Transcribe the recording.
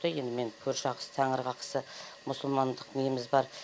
енді мен көрші ақысы тәңір қақысы мұсылмандық неміз бар